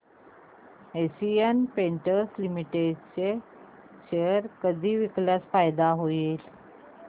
Asian Paints Limited चे share कधी विकल्यास फायदा होईल